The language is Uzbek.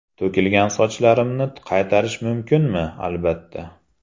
To‘kilgan sochlarimni qaytarish mumkinmi albatta!